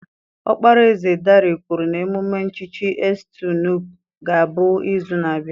Ọkpara eze Dare kwuru na emume nchichi Estu Nupe ga-abụ izu na-abịa